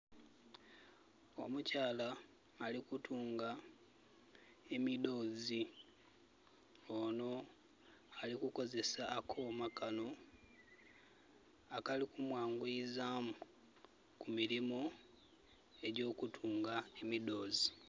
Omukyala ali kutunga emidhoozi. Onho ali kukozesa akooma kano akali kumwanguyizaamu ku milimu, egy'okutunga emidhoozi.